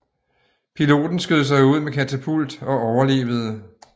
Piloten skød sig ud med katapult og overlevede